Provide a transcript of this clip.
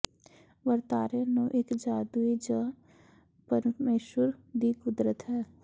ਵਰਤਾਰੇ ਨੂੰ ਇੱਕ ਜਾਦੂਈ ਜ ਪਰਮੇਸ਼ੁਰ ਦੀ ਕੁਦਰਤ ਹੈ